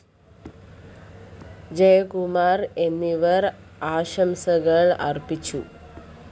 ജയകുമാര്‍ എന്നിവര്‍ ആശംസകള്‍ അര്‍പ്പിച്ചു